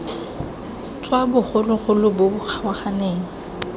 tswa bogologolo bo bo kgaoganeng